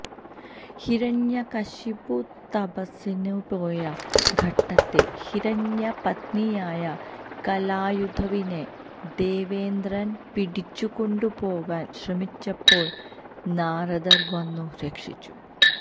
ഹിരണ്യകശിപു തപസ്സിനുപോയ ഘട്ടത്തില് ഹിരണ്യപത്നിയായ കയാധുവിനെ ദേവേന്ദ്രന് പിടിച്ചുകൊണ്ടുപോകാന് ശ്രമിച്ചപ്പോള് നാരദര് വന്നു രക്ഷിച്ചു